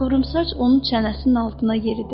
Qıvrımsaç onun çənəsinin altına yeridi.